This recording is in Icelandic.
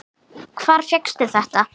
Hvar fékkstu þetta?